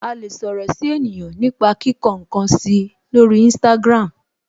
A lè sọ̀rọ̀ si ènìyàn nipa kíkọ nkan si lori instagram.